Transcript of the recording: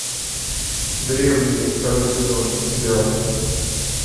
древние второй сезон сериал